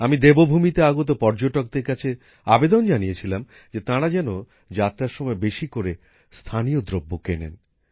আমি দেবভূমিতে আগত পর্যটকদের কাছে আবেদন জানিয়েছিলাম তারা যেন যাত্রার সময় বেশি করে স্থানীয় দ্রব্য কেনেন